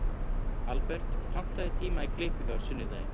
Albert, pantaðu tíma í klippingu á sunnudaginn.